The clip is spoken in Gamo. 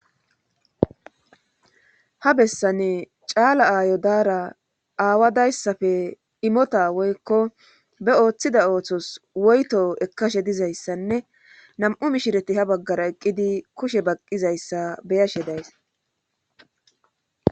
Ha besani caala aayo daara aawa dayssappe immota woykko ba ooththida oothos woytho ekkashe dizaysanne nam'u mishireti ha bagara eqqidi kushe baqqizayssa be'ashe days.